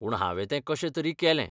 पूण हांवें तें कशेंतरी केलें.